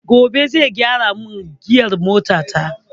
Gobe zai gyara min giyar mota ta